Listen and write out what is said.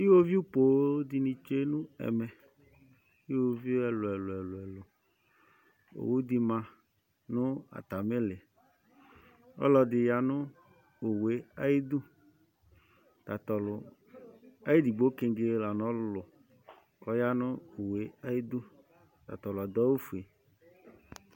Iwoviu põn di tsue n'ɛmɛ, uwoviu ɛluɛlu, owu di bi ma nu atamì li, ɔluɛdi ya nu owue ayi dù, tatɔlu ayidigbo kengé la n' ɔlulu k'ɔya nu owue ayi dù, tatɔlu adu awù fue